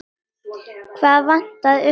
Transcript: Hvað vantaði upp á?